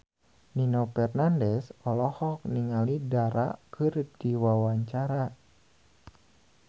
Nino Fernandez olohok ningali Dara keur diwawancara